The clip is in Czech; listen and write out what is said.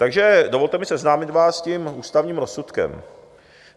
Takže dovolte mi seznámit vás s tím ústavním rozsudkem.